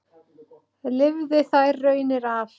Lifði þær raunir af.